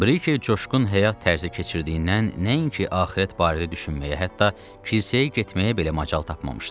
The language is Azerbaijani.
Brike coşqun həyat tərzi keçirtdiyindən nəinki axirət barədə düşünməyə, hətta kilsəyə getməyə belə macal tapmamışdı.